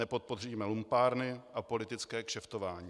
Nepodpoříme lumpárny a politické kšeftování.